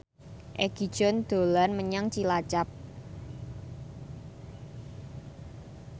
Egi John dolan menyang Cilacap